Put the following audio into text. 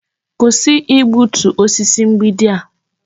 Kwụsị igbutu osisi mgbidi a.